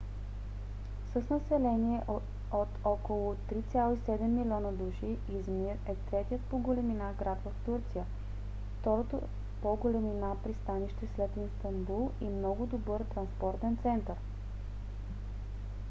с население от около 3,7 милиона души измир е третият по големина град в турция второто по големина пристанище след истанбул и много добър транспортен център